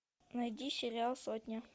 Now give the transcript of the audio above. найди сериал сотня